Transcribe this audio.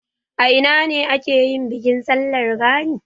A ina ne ake yin bikin sallar gani?